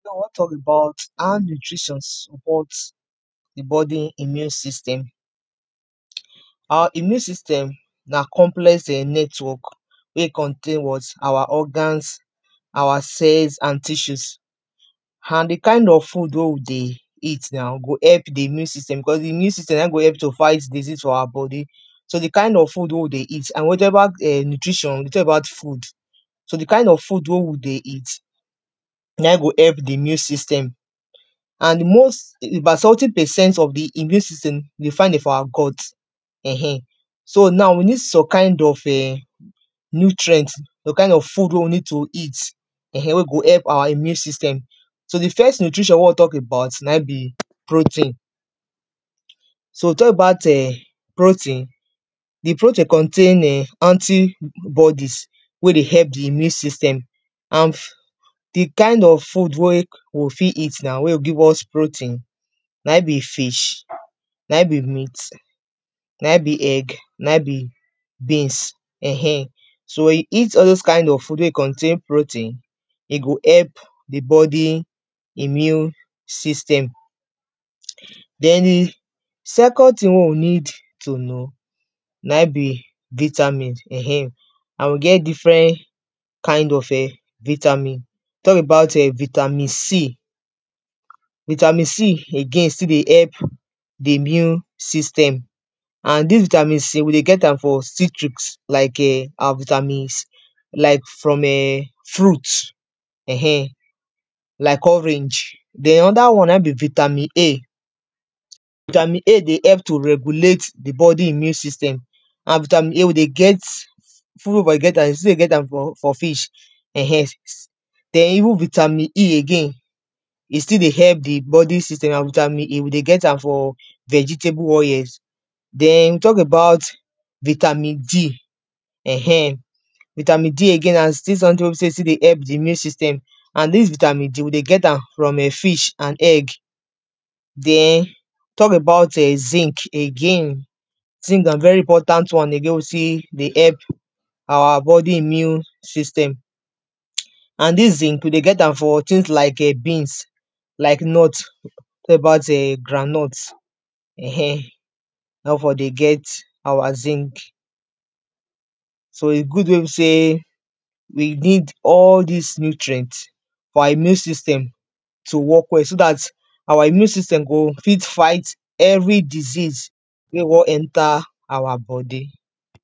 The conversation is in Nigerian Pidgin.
now we wan tok about how nutritions supports the body immune system awa immune system na complex um network wey contain walls awa organs awa cells and tissues and the kind of food wey we dey eat now, go help the immune system, because the immune system na in go help you to fight disease for awa body so, the kind of food wey we dey eat and whichever um nutrition, whichever food so the kind of food wey we dey eat na in go help the immune system and most about seventy percent of the immune system dey find dem for awa guts eh um so now we need some kind of um nutrient some kind of food wey we need to eat um wey go help awa immune system so, the first nutrition wey we wan tok about na in be protein so, we tok about um protein the protein contain [um]anti bodies wey dey help the immune system hanf the kind of food wey we go fi eat na wey go give us protein na in be fish na in be meat, na in be egg na in be beans eh um so when you eat all dose kind food wey contain protein he go help the body, immune system den the second tin wey we need to know na in be vitamins um and we get different kind of um vitamin tok about um vitamin C vitamin C again still dey help the immune system and dis vitamin C we dey get am from citrus like um awa vitamins like from [um]fruit eh um like orange den another one na in be vitamin A vitamin A dey help to regulate the body immune system and vitamin A we dey get food wey we from dey get am, we still dey get am from fish um den even vitamin E again he still dey help the body system, and vitamin E we dey get am from vegetable oils den we tok about vitamin D eh um vitamin D again na still someting wey be sey he still dey help the immune system and dis vitamin D we dey get am from um fish and egg den tok about um, zinc again zinc na very important one again wey be sey he dey help awa body immune system and dis zinc we dey get am from tings like um beans like nut tok about um groundnut um na we for dey get awa zinc [?[so he good wey be sey we need all dis nutrient for awa immune system to work well, so dat awa immune system go fit fight every disease wey wan enter awa body